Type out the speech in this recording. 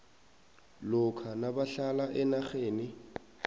lokha nabahlala enarheni